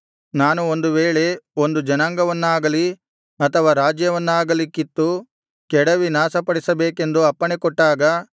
ನಾನು ಒಂದು ವೇಳೆ ಒಂದು ಜನಾಂಗವನ್ನಾಗಲಿ ಅಥವಾ ರಾಜ್ಯವನ್ನಾಗಲಿ ಕಿತ್ತು ಕೆಡವಿ ನಾಶಪಡಿಸಬೇಕೆಂದು ಅಪ್ಪಣೆಕೊಟ್ಟಾಗ